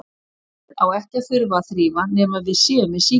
Nefið á ekki að þurfa að þrífa nema við séum með sýkingu.